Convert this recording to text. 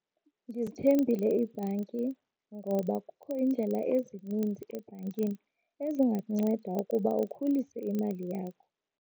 Ndizithembile iibhanki ngoba kukho indlela ezininzi ebhankini ezingakunceda ukuba ukhulise imali yakho.